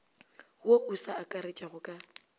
wo o sa akaretšwago ka